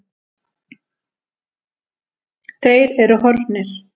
Þeir eru horfnir.